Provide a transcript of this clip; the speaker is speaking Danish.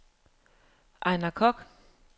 Ejnar Kock